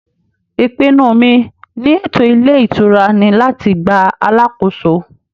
ìpinnu mi ni ètò ilé ìtura ni láti gba alàkóso